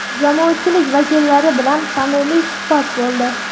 jamoatchilik vakillari bilan samimiy suhbat bo‘ldi.